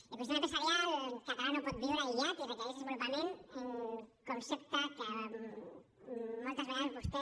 l’ecosistema empresarial català no pot viure aïllat i requereix desenvolupament un concepte que moltes vegades vostè